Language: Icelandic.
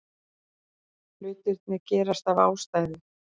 Hlutirnir gerast af ástæðu.